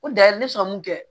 Ko da ne sɔn